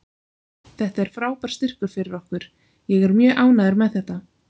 Þetta er frábær styrkur fyrir okkur, ég er mjög ánægður með þetta.